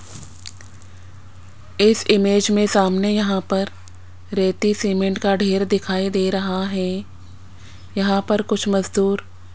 इस इमेज में सामने यहां पर रेती सीमेंट का ढेर दिखाई दे रहा है यहां पर कुछ मजदूर --